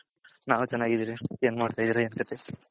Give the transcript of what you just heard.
ನಾವ್ ಚೆನ್ನಗಿದಿರಿ ಎನ್ ಮಾಡ್ತೈದಿರ ಎನ್ ಕಥೆ